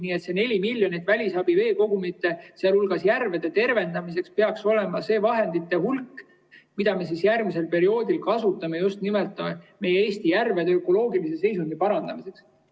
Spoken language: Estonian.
Nii et see 4 miljonit välisabi veekogumite, sealhulgas järvede tervendamiseks peaks olema see vahendite hulk, mida me järgmisel perioodil kasutame just nimelt meie Eesti järvede ökoloogilise seisundi parandamiseks.